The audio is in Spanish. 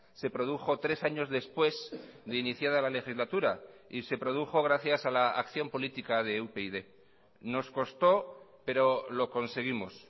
se produjo tres años después de iniciada la legislatura y se produjo gracias a la acción política de upyd nos costó pero lo conseguimos